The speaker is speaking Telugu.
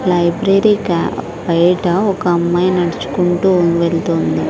లైబ్రెరీ కి బయట ఒక అమ్మాయి నడుచుకుంటూ వెళ్తోంది.